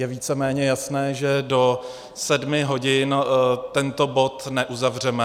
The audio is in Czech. Je víceméně jasné, že do sedmi hodin tento bod neuzavřeme.